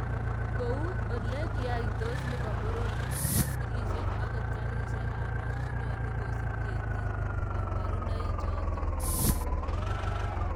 Kou ole kiaitos nebo poror, boskilisyek ako garisyekab maat konyolu kosup ketiik kabarunoichotok.